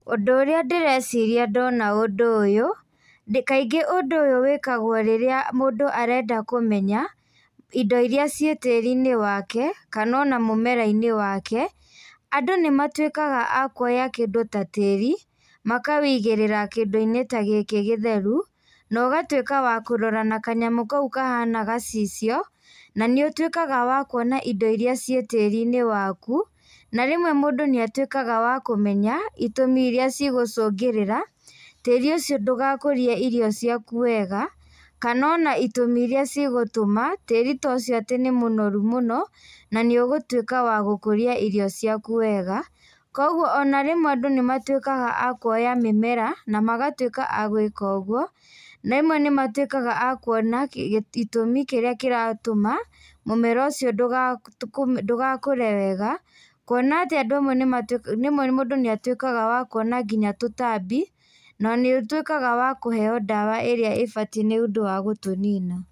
Ũndũ ũrĩa ndĩreciria ndona ũndũ ũyũ, kaingĩ ũndũ ũyũ wĩkagwo rĩrĩa mũndũ arenda kũmenya indo irĩa ciĩ tĩrinĩ wake kana ona mũmera-inĩ wake. Andũ nĩ matuĩkaga a kuoya kĩndũ ta tĩĩri makaũigĩrĩra kĩndũ-inĩ ta gĩkĩ gĩtheru na ũgatuĩka wa kũrora na kanyamũ kau kahiana gacicio na nĩ ũtuĩkaga wa kuona indo irĩa ciĩ tĩĩri-inĩ waku. Na rĩmwe mũndũ nĩ atuĩkaga wa kũmenya itũmi irĩa cigũcũngĩrĩra tĩĩri ũcio ndũgakũrie irio ciaku wega, kana ona itũmi irĩa cigũtũma tĩĩrĩ ta ũcio atĩ nĩ mũnoru mũno na nĩũgũtuĩka wa gũkũria irio ciaku wega. Kwoguo ona rĩmwe andũ nĩ matuĩkaga a kuoya mĩmera na magatuĩka a gwĩka ũguo. Rĩmwe nĩ matuĩkaga a kuona itũmi kĩrĩa kĩratũma mũmera ũcio ndũgakũre wega. Kwona atĩ andũ amwe rĩmwe nĩ atuĩkaga wa kuona nginya tũtambi, na nĩ ũtuĩkaga wa kũheo ndawa ĩrĩa ĩbatiĩ nĩ ũndũ wa gũtũnina.